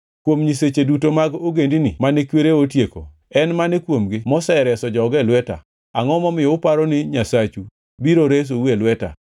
Kuom nyiseche duto mag ogendini mane kwerena otieko, en mane kuomgi mosereso joge e lweta? Angʼo momiyo uparo ni nyasachu biro resou e lweta?